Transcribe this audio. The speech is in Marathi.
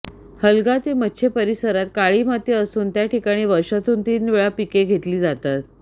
हलगा ते मच्छे परिसरात काळी माती असून त्या ठिकाणी वर्षातून तीन वेळा पिके घेतली जातात